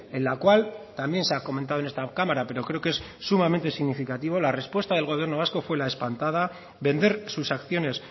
en la cual también se ha comentado en esta cámara pero creo que es sumamente significativo la respuesta del gobierno vasco fue la espantada vender sus acciones